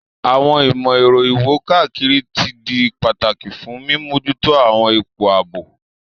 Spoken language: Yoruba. Àwọn ìmò-èro iwo-kakiri ti di pataki fun mimojuto àwọn ipo aabo.